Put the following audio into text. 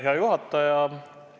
Hea juhataja!